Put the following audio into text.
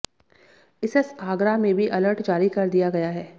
इसस आगरा में भी अलर्ट जारी कर दिया गया है